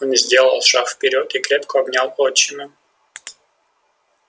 он сделал шаг вперёд и крепко обнял отчима